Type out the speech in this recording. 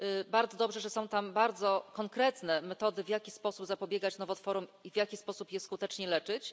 Bardzo dobrze, że są tam bardzo konkretne metody, w jaki sposób zapobiegać nowotworom i w jaki sposób je skutecznie leczyć.